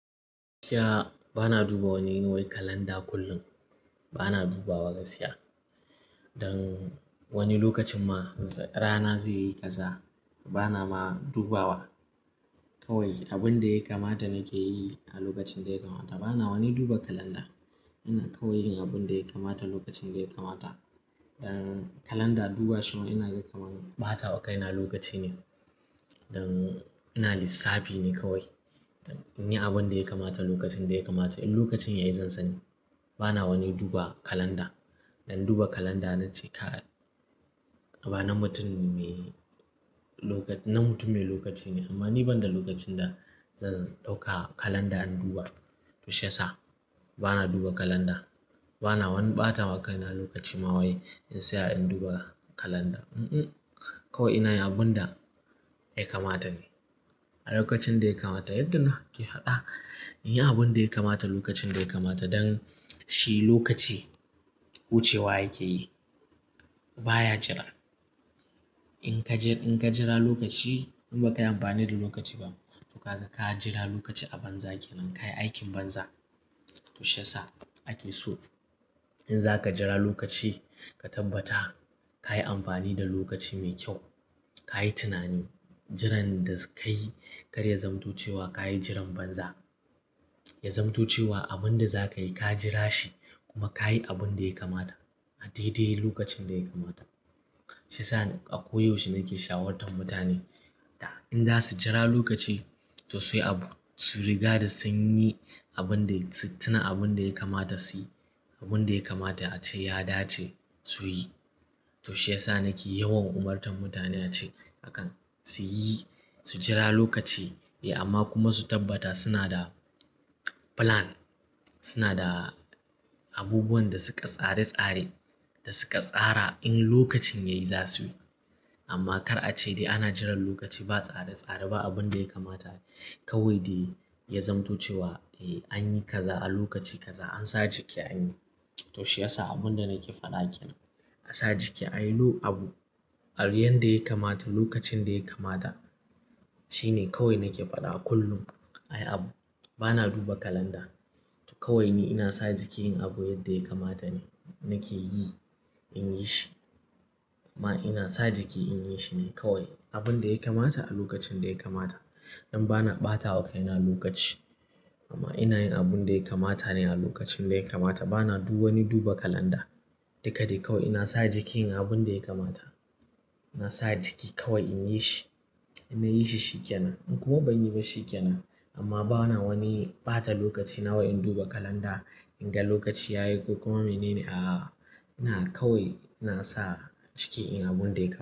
Shi ya, bana duba wani wai kalanda kullum. Bana dubawa gaskiya. Dan wani lokacin ma rana zai yi kaza bana ma dubawa kawai abin da ya kamata nake yi a lokacin da ya kamata. Bana wani duba kalanda. Ina kawai yin abin da ya kamata lokacin da ya kamata. Dan kalanda duba shi ma ina kai kamar ɓata wa kaina lokaci ne. Dan ina lissafi ne kawai. In yi abin da ya kamata lokacin da ya kamata. In lokacin yayi zan sani. Bana wani duba kalanda. Dan duba kalanda nace ka-- bana mutum me na mutum mai lokaci ne. Amma ni banda lokacin da zan ɗauka kalanda in duba. To shi ya sa bana duba kalanda. Bana wani ɓata wa kaina lokaci ma wai in saya in duba kalanda. Unh unh. Kawai ina yi abun da ya kamata ne a lokacin da ya kamata. Yadda nake faɗa in yi abun da ya kamata lokacin da ya kamata. Dan shi lokaci wucewa yake yi baya jira. In ka jira lokaci in ba ka yi amfani da lokaci ba to ga ka jira lokaci a banza kenan. Ka yi aikin banza. To shi ya sa ake so in za ka jira lokaci ka tabbata ka yi amfani da lokaci mai kyau. Ka yi tunani jiran da ka yi kar ya zamotocewa ka yi jiran banza. Ya zamtocewa abin da za ka yi ka jira shi kuma ka yi abin da ya kamata a daidai lokacin da ya kamata. Shi ya sa a ko yaushe nake shawarwantar mutane in za su jira lokaci to su yi abu-- su riga da sun yi abin da su-- suna abin da ya kamata su yi. Abin da ya kamata ace ya dace su yi. To shi ya sa nake yawan umartan mutane ace akan su yi, su jira lokaci eh amma kuma su tabbata suna da plan. Suna da abubuwan da suka tsare-tsare da suka tsara in lokacin yayi za su yi. Amma kar a ce dai ana jiran lokaci ba tsare-tsare ba abin da ya kamata kawai dai ya zamtoce wa. Eh an yi kaza a lokaci kaza an sa jiki an yi. To shi ya sa abin da nake faɗa kenan. A sa jiki ayi abu a riyan da ya kamata lokacin da ya kamata shine kawai nake faɗa kullum. Ayi abu bana duba kalanda. To kawai ni ina sa jiki yin abu yadda ya kamata ne nake yi in yi shi. Amma ina sa jiki in yi shi ne kawai abin da ya kamata a lokacin da ya kamata. Don bana ɓata wa kaina lokaci amma ina yin abin da ya kamata ne a lokacin da ya kamata. Bana duba wani duba kalanda. Duka dai kawai ina sa jiki yin abin da ya kamata. Ina sa jiki kawai in yi shi. Inna yi shi shikenan in kuma ban yi ba shikenan. Amma bana wani ɓata lokaci nawa in duba kalanda in ga lokaci ya yi ko kuma mene a-- ina kawai ina sa jiki yin abun da ya ka.